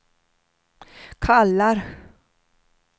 kallar